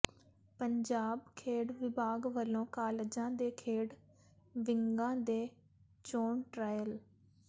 ਪੰਜਾਬ ਖੇਡ ਵਿਭਾਗ ਵੱਲੋਂ ਕਾਲਜਾਂ ਦੇ ਖੇਡ ਵਿੰਗਾਂ ਦੇ ਚੋਣ ਟ੍ਰਾਇਲ